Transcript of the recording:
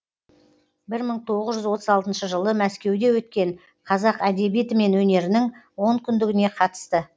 бір мың тоғыз жүз отыз алтыншы жылы мәскеуде өткен қазақ әдебиеті мен өнерінің онкүндігіне қатысты